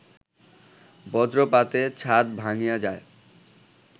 বজ্রপাতে ছাদ ভাঙ্গিয়া যায়